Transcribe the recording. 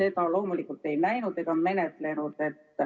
... seda loomulikult ei näinud ega menetlenud.